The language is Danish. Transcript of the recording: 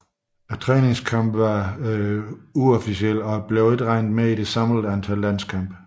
Træningskampene var dog uofficielle og regnes ikke med i det samlede antal landskampe